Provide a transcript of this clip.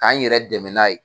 Ka n yɛrɛ dɛmɛ n'a ye.